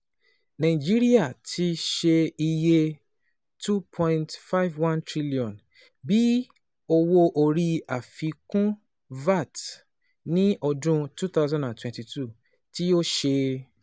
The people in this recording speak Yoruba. Nàìjíríà ti ṣe iye N two point five one trillion bi Owo-ori Afikun (VAT) ni ọdun twenty twenty two, ti o ṣe